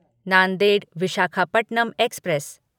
Nanded Visakhapatnam express